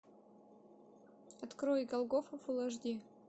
открой голгофа фулл аш ди